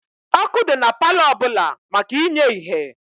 Ọkụ dị na palọ ọbụla maka inye ihe.